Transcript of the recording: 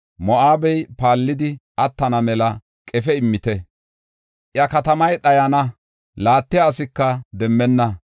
Moo7abey paallidi attana mela qefe immite. I katamay dhayana laattiya asika demmenna.